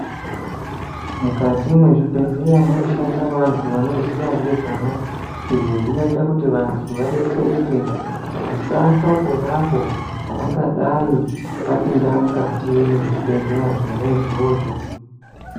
Mukati mwezvibhehleya munoshanda vantu vanoziya ngezvamo. Izvi zvinoita kuti vantu vadetsereke vasafa ponapo pavangadai vapinda mukati mwezvibhehleya zvona izvozvo.